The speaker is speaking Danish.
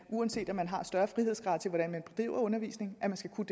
uanset at man har større frihedsgrader til hvordan man bedriver undervisning skal kunne